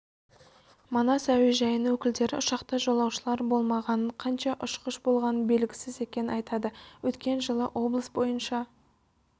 манас әуежайының өкілдері ұшақта жолаушылар болмағанын қанша ұшқыш болғаны белгісіз екенін айтады өткен жылы облыс бойынша